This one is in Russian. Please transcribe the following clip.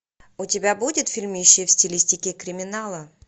у тебя будет фильмище в стилистике криминала